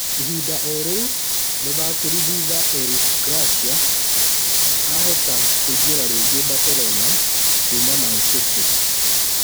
Ihinda o-rĩu mũthakĩri thutha Eric Garcia ahota kũingĩra rĩngĩ Barcelona kuuma Man-City